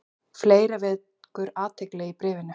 Fleira vekur athygli í bréfinu.